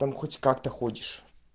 там хоть как-то ходишь